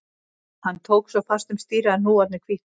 Hann tók svo fast um stýrið að hnúarnir hvítnuðu